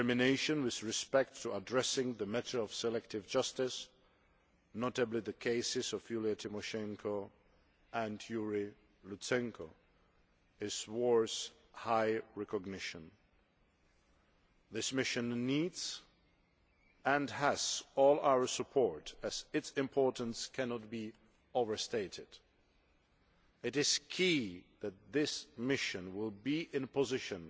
Its determination with respect to addressing the matter of selective justice, notably the cases of Yulia Tymoshenko and Yuriy Lutsenko, deserves high recognition. This mission needs and has all our support as its importance cannot be overstated. It is key that this mission will be in a position